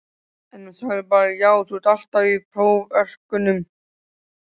En hún sagði bara já þú ert alltaf í próförkunum?